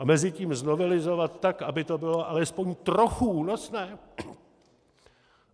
A mezitím znovelizovat tak, aby to bylo alespoň trochu únosné?